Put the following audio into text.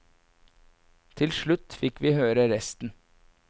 Til slutt fikk vi høre resten.